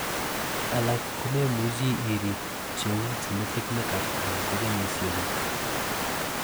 alak komemuchi irib, cheu genetic make up anan ko kenyisiekguk